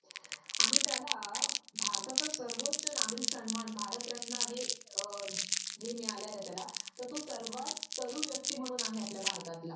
आणि त्याला भारताचा सर्वोच नागरिक सन्मान भारतरत्न आणि अ हे मिळालय ना त्याला तर तो सर्वात तरुण व्यक्ती म्हणून आहे आपल्या भारतात